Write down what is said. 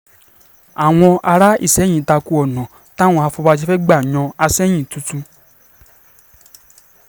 àwọn um ará ìsẹ̀yìn ta ko ọ̀nà um táwọn afọbàjẹ́ fẹ́ gbà yan àsẹ̀yìn tuntun